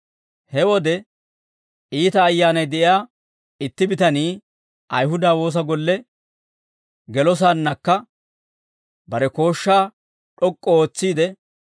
He wode iita ayyaanay de'iyaa itti bitanii Ayihuda woosa golle gelosaannakka bare kooshshaa d'ok'k'u ootsiide,